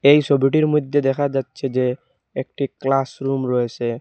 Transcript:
এই সোবিটির মইধ্যে দেখা যাচ্ছে যে একটি ক্লাস রুম রয়েসে।